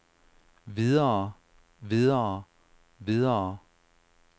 videre videre videre